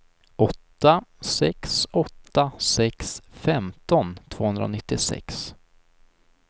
åtta sex åtta sex femton tvåhundranittiosex